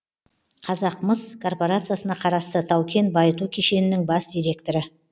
қазақмыс корпорациясына қарасты тау кен байыту кешенінің бас директоры